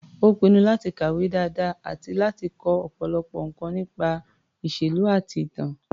Ó pinnu láti kàwé dáadáa àti láti kọ́ ọ̀pọ̀lọpọ̀ nǹkan nípa ìṣèlú àti ìtàn.